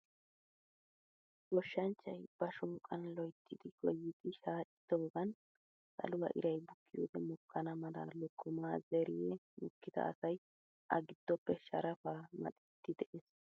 Goshshanchchay ba shoqan loyttidi goyidi shaccidagan saluwaa iray bukiyode mokkana mala lokkoma zeerihe mokkid asay a giddoppe sharafa maxxidi de'ees.